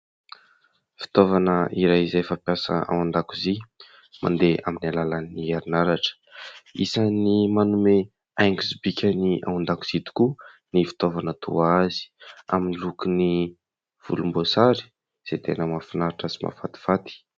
Fitaovana iray izay fampiasa ao an-dakozia mandeha amin'ny alalan'ny herinaratra, isany manome haingo sy bika ny ao an-dakozia tokoa ny fitaovana toa azy, amin'ny lokony volomboasary izay tena mahafinaritra sy mahafatifaty.